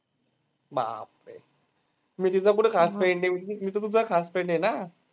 बापरे. मी तिचा कुठं खास friend आहे? मी तर तुझा खास friend आहे ना?